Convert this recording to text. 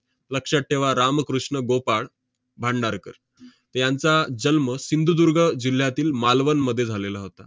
लक्षात ठेवा, रामकृष्ण गोपाळ भांडारकर. यांचा जन्म सिंधुदुर्ग जिल्ह्यातील मालवणमध्ये झालेला होता.